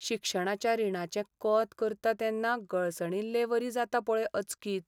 शिक्षणाच्या रिणाचें कोंत करतां तेन्ना गळसणिल्लेवरी जाता पळय अचकीत.